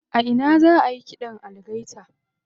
A ina za ayi ƙidan algaita?